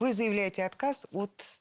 вы заявляете отказ от